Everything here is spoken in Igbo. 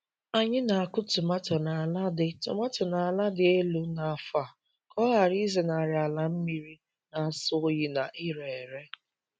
Anyị na-akụ tomato n'ala dị tomato n'ala dị elu n'afọ a ka ọ ghara ịzenarị ala mmiri na-asọ oyi na ire ere.